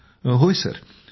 विजयशांती जीः होय सर